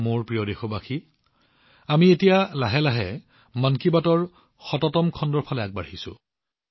মোৰ মৰমৰ দেশবাসীসকল এতিয়া আমি লাহে লাহে মন কী বাতৰ ১০০তম খণ্ডৰ অভূতপূৰ্ব মাইলৰ খুঁটিৰ দিশে আগবাঢ়িছো